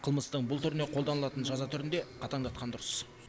қылмыстың бұл түріне қолданылатын жаза түрін де қатаңдатқан дұрыс